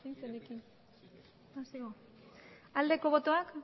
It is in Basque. aldeko botoak